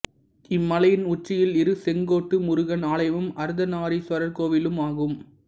இம்மலையின் உச்சியில் இரு செங்கோட்டு முருகன் ஆலயமும் அர்த்தநாரீஸ்வரர் கோவிலும் ஆகும்